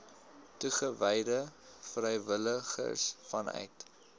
toegewyde vrywilligers vanuit